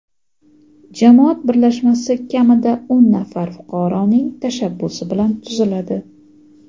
Jamoat birlashmasi kamida o‘n nafar fuqaroning tashabbusi bilan tuziladi.